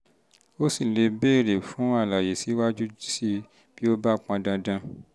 o sì lè béèrè lè béèrè fún àlàyé síwájú sí i bí ó bá pọn dandan